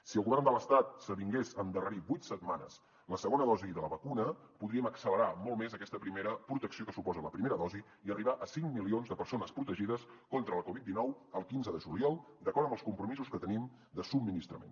si el govern de l’estat s’avingués a endarrerir vuit setmanes la segona dosi de la vacuna podríem accelerar molt més aquesta primera protecció que suposa la primera dosi i arribar a cinc milions de persones protegides contra la covid dinou el quinze de juliol d’acord amb els compromisos que tenim de subministrament